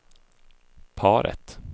paret